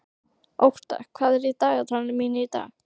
Ótta, hvað er í dagatalinu mínu í dag?